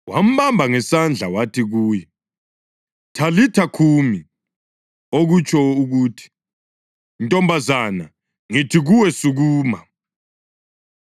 Wambamba ngesandla wathi kuye, \+wj “Thalitha khumi!”\+wj* (okutsho ukuthi, “Ntombazana, ngithi kuwe, sukuma!”)